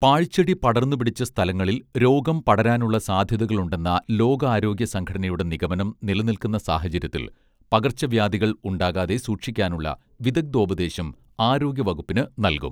പാഴ്ച്ചെടി പടർന്നു പിടിച്ച സ്ഥലങ്ങളിൽ രോഗം പടരാനുള്ള സാധ്യതകളുണ്ടെന്ന ലോകാരോഗ്യ സംഘടനയുടെ നിഗമനം നിലനിൽക്കുന്ന സാഹചര്യത്തിൽ പകർച്ചവ്യാധികൾ ഉണ്ടാകാതെ സൂക്ഷിക്കാനുള്ള വിദഗ്ദ്ധോപദേശം ആരോഗ്യ വകുപ്പിന് നൽകും